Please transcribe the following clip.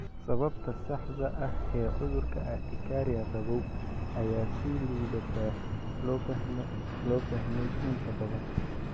Sababta saxda ah ee cudurka urtikaria qabow ayaa si liidata loo fahmay inta badan.